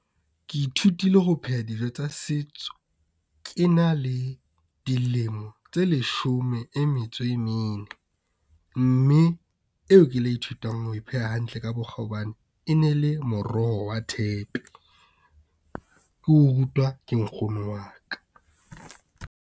Ke ithutile ho pheha dijo tsa setso. Ke na le dilemo tse leshome e metso e mene, mme eo ke la ithutang ho e pheha hantle ka bokgabane. E ne le moroho wa thepe, ke o rutwa ke Nkgono wa ka.